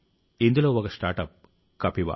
ఇందులో ఒక స్టార్టప్ కపివా